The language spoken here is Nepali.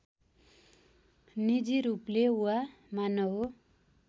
निजी रूपले वा मानव